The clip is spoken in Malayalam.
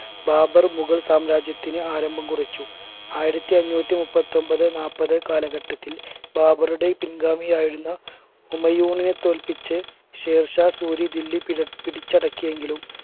ബാബർ മുകൾ സാമ്രാജ്യത്തിന് ആരംഭം കുറിച്ചു ആയിരത്തി അന്നൂറ്റി മുപ്പത്തൊമ്പത് നാല്പത് കാലഘട്ടത്തിൽ ബാബറുടെ പിൻഗാമിയായിരുന്ന ഉമ്മയൂനെ തോൽപ്പിച്ച് ഷെയർശാ സൂരി ദില്ലി പി പിടിച്ചടക്കിയെങ്കിലും